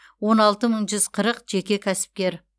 он алты мың жүз қырық жеке кәсіпкер